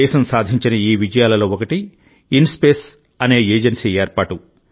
దేశం సాధించిన ఈ విజయాలలో ఒకటి ఇన్స్పేస్ అనే ఏజెన్సీ ఏర్పాటు